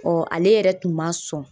ale yɛrɛ tun ma sɔn.